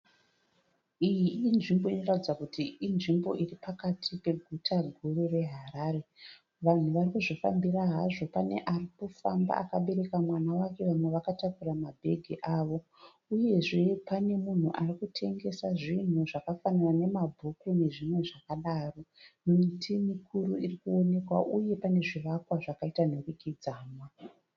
Iyi inzvimbo inoratidza kuti inzvimbo iri pakati peguta guru reHarare. Vanhu vari kuzvifambira hazvo. Pane ari kufamba akabereka mwana wake. Vamwe vakatakura mabhegi avo. Uyezve pane munhu ari kutengesa zvinhu zvakafanana nemabhuku nezvimwe zvakadaro. Miti mikuru iri kuonekwa uye pane zvivakwa zvakaita nhurikidzanwa.